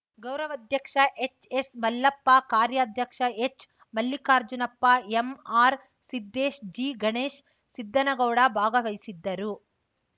ಗೌರವಾಧ್ಯಕ್ಷ ಎಚ್‌ಎಸ್‌ಮಲ್ಲಪ್ಪ ಕಾರ್ಯಧ್ಯಕ್ಷ ಎಚ್‌ಮಲ್ಲಿಕಾರ್ಜುನಪ್ಪ ಎಂಆರ್‌ಸಿದ್ದೇಶ್‌ ಜಿಗಣೇಶ್‌ ಸಿದ್ಧನಗೌಡ ಭಾಗವಹಿಸಿದ್ದರು